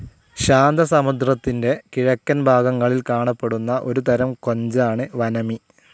ശാന്തസമുദ്രത്തിൻ്റെ കിഴക്കൻ ഭാഗങ്ങളിൽ കാണപ്പെടുന്ന ഒരു തരം കൊഞ്ചാണ് വനമി.